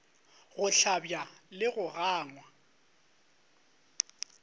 go hlabja le go gangwa